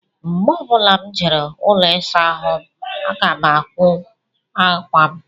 Mgbe ọ bụla m jere ụlọ ịsa ahụ aga m akwọ aka m